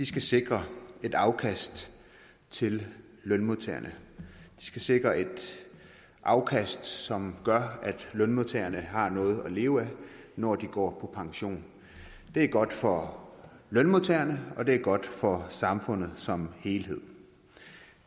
skal sikre et afkast til lønmodtagerne de skal sikre et afkast som gør at lønmodtagerne har noget at leve af når de går pension det er godt for lønmodtagerne og det er godt for samfundet som helhed